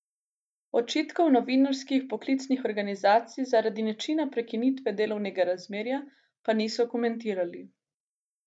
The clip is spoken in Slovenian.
Očitkov novinarskih poklicnih organizacij zaradi načina prekinitve delovnega razmerja pa niso komentirali.